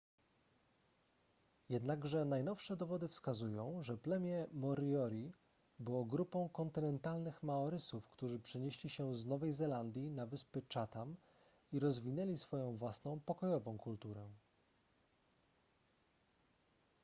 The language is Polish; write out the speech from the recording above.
jednakże najnowsze dowody wskazują że plemię moriori było grupą kontynentalnych maorysów którzy przenieśli się z nowej zelandii na wyspy chatham i rozwinęli swoją własną pokojową kulturę